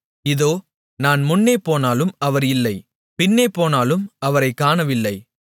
இதோ நான் முன்னேபோனாலும் அவர் இல்லை பின்னேபோனாலும் அவரைக் காணவில்லை